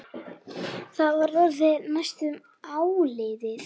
Það var orðið næsta áliðið.